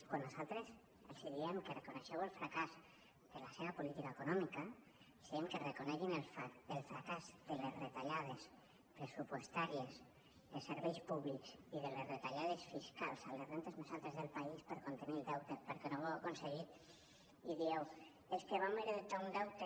quan nosaltres els diem que reconeguin el fracàs de la seva política econòmica els diem que reconeguin el fracàs de les retallades pressupostàries de serveis públics i de les retallades fiscals a les rendes més altes del país per contenir el deute perquè no ho han aconseguit i diuen és que vam heretar un deute